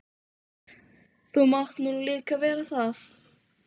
Það hefur alltaf verið þessi undarlega hula yfir öllu.